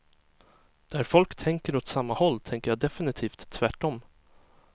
Där folk tänker åt samma håll tänker jag defenitivt tvärtom.